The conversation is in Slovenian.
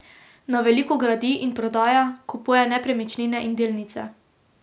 Na veliko gradi in prodaja, kupuje nepremičnine in delnice.